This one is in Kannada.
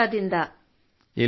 ದಾನ್ ದಪರಾದಿಂದ